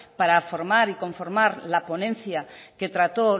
para formar y conformar la ponencia que trató